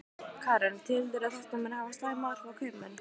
Karen: Telurðu að þetta muni hafa slæm áhrif á kaupmenn?